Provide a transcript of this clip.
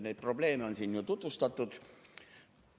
Neid probleeme on siin juba tutvustatud.